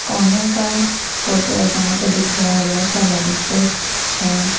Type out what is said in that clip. कोने का फोटो है यहाँ पे दिख रहा है बहुत सारे लाइट्स हैं स्टीच हैं।